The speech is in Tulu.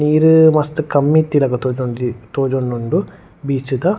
ನೀರ್ ಮಸ್ತ್ ಕಮ್ಮಿ ಇತ್ತಿಲೆಕ್ಕ ತೋಜೊಂದುಂಡು ಬೀಚ್ದ .